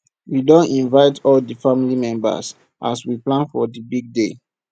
we don invite all di family members as we plan for di big day